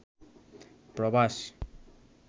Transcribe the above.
প্রবাস